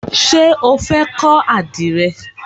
Ṣé o fẹ́ kọ́ àdìrẹ?